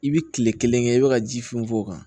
I bi kile kelen kɛ i be ka ji funfun o kan